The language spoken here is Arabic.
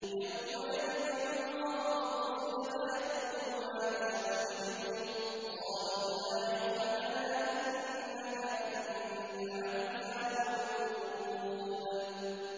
۞ يَوْمَ يَجْمَعُ اللَّهُ الرُّسُلَ فَيَقُولُ مَاذَا أُجِبْتُمْ ۖ قَالُوا لَا عِلْمَ لَنَا ۖ إِنَّكَ أَنتَ عَلَّامُ الْغُيُوبِ